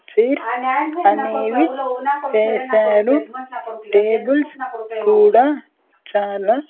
Chairs అనేవి వేశారు tables కూడా చాలా.